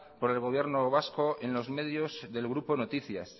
por el gobierno vasco en los medios del grupo noticias